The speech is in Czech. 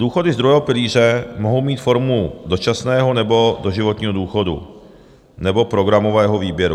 Důchody z druhého pilíře mohou mít formu dočasného, nebo doživotního důchodu, nebo programového výběru.